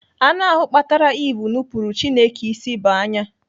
Anụ ahụ kpatara Eve nupuru Chineke isi bụ anya.